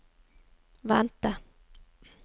vente